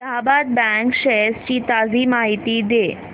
Allahabad bank shares ची ताजी माहिती दे